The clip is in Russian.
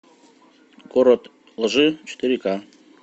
город лжи четыре ка